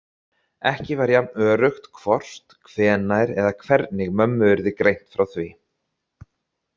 Ekki var jafn öruggt hvort, hvenær eða hvernig mömmu yrði greint frá því.